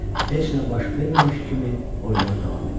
Heç nə baş verməmiş kimi oyuna davam elədi.